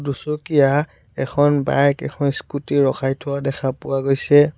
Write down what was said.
দুচকীয়া এখন বাইক এখন স্কুটী ৰখাই থোৱা দেখা পোৱা গৈছে।